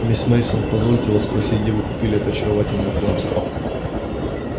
мисс мейсон позвольте вас спросить где вы купили это очаровательное платье